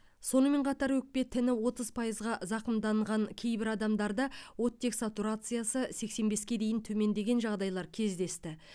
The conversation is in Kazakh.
сонымен қатар өкпе тіні отыз пайызға зақымданған кейбір адамдарда оттек сатурациясы сексен беске дейін төмендеген жағдайлар кездесті